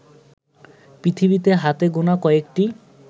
পৃথিবীতে হাতে গোনা কয়েকটি